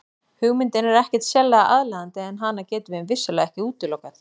Hugmyndin er ekkert sérlega aðlaðandi en hana getum við vissulega ekki útilokað.